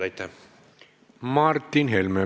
Martin Helme, palun!